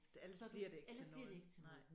Ellers så bliver det ikke til noget nej